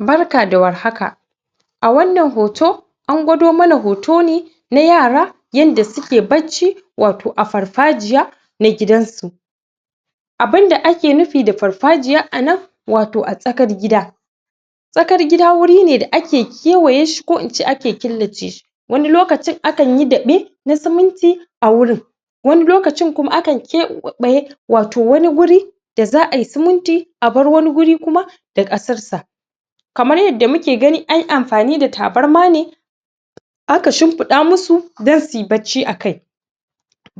Barka da warhaka a wannan hoto an gwado mana hoto ne na yara yadda suke bacci wato a farfajiya na gidan su abun da ake nufi da farfajiya anan wato a tsakar gida tsakar gida wuri ne da ake kewaye shi ko in ce ake killace shi wani lokacin akan yi daɓe ko siminti a wurin wani lokacin kuma akan keɓaye wato wani wuri da za ai seminti abar wani wuri kuma da ƙasar sa kamar yadda muke gani anyi amfani da tabarma ne aka shimfiɗa musu don suyi bacci a kai